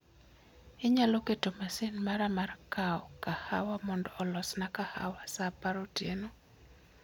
Inyalo keto masin mara mar kawo kahawa mondo olosna kahawa sa apar otieno